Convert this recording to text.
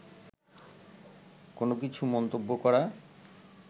কোন কিছু মন্তব্য করা